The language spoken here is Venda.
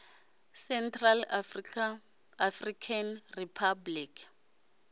central african republic